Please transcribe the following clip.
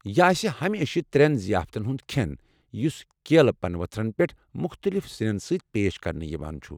یہِ آسہِ ہمیشہٕ ترے ضِیافتن ہُند کھٮ۪ن یُس کیلہٕ پنہٕ ؤتھرَن پٮ۪ٹھ مُختٔلف سِنٮ۪ن سۭتۍ پیش کرنہٕ یِوان چھُ۔